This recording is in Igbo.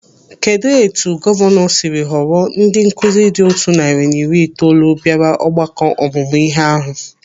Kedụ etu gọvanọ siri họrọ ndị nkụzi dị otu narị na iri itoolu bịara ọgbakọ ọmụmụ ihe ahụ?